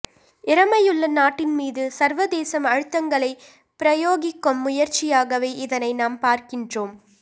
இறைமையுள்ள நாட்டின் மீது சர்வதேசம் அழுத்தங்களைப் பிரயோகிக்கும் முயற்சியாகவே இதனை நாம் பார்க்கின்றோம்